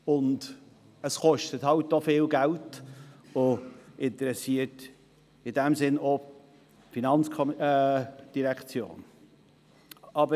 Zudem kostet es viel Geld, sodass sich auch die FIN dafür interessiert.